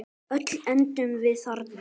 Öll endum við þarna.